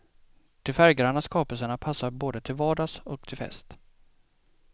De färggranna skapelserna passar både till vardags och till fest.